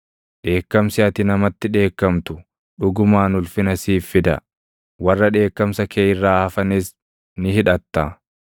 Dheekkamsi ati namatti dheekkamtu dhugumaan ulfina siif fida; warra dheekkamsa kee irraa hafanis ni hidhatta.